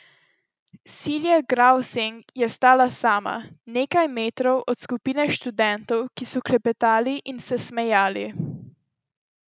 Silje Gravseng je stala sama, nekaj metrov od skupine študentov, ki so klepetali in se smejali.